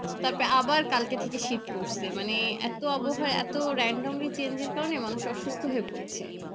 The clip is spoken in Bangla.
তারপরে আবার কালকে থেকে শীত পড়ছে মানে এত আবহাওয়া এত randomly change এর কারণে মানুষ অসুস্থ হয়ে পড়ছে